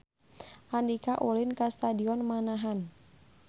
Andika ulin ka Stadion Manahan